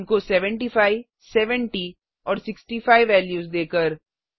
उनको 75 70 और 65 वेल्यू देकर